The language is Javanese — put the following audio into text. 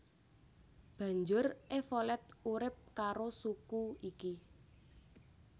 Banjur Evolet urip karo suku iki